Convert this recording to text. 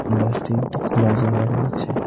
বাসটি একটি খোলা জাগায় রয়েছে।